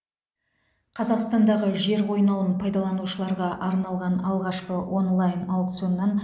қазақстандағы жер қойнауын пайдаланушыларға арналған алғашқы онлайн аукционнан